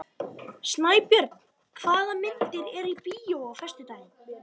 Snæbjörn, hvaða myndir eru í bíó á föstudaginn?